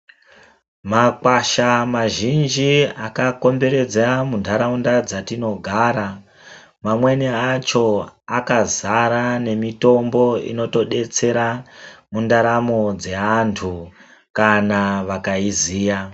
Mawasha mazhinji akakomberwdza mundaraunda dzatinogara mamweni acho akazara nemitombo inotodetsera mundaramo dzeantu kana vakaiziya.